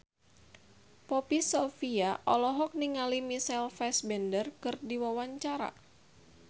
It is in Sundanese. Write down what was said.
Poppy Sovia olohok ningali Michael Fassbender keur diwawancara